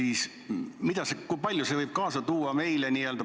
Ja mida ning kui palju see võib kaasa tuua meile?